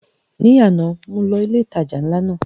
Ní àná mo lọ ilé ìtajà ńlá náà